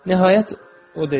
Nəhayət o dedi: